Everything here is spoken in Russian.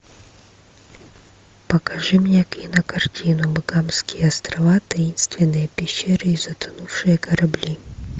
покажи мне кинокартину багамские острова таинственные пещеры и затонувшие корабли